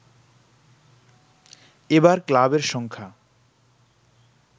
এবার ক্লাবের সংখ্যা